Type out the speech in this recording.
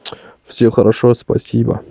все хорошо спасибо